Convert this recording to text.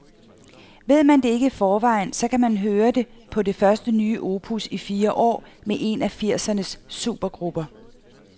Ved man ikke det i forvejen, så kan man høre det på det første nye opus i fire år med en af firsernes supergrupper.